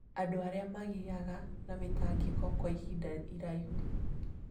Andũ arĩa magĩaga na mĩtangĩko kwa ihinda iraihu